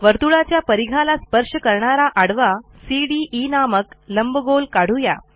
वर्तुळाच्या परिघाला स्पर्श करणारा आडवा सीडीई नामक लंबगोल काढू या